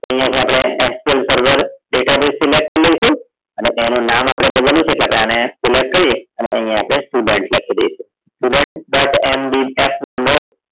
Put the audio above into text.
અહીંયા થી આપણી mql server database selected કરી લઈશું અને એનું નામ આપણને નામ બદલવું છે એટલે આપણે એને select કરી અને અહીં આપણે student લખી દઈશું student dot MVF નામનો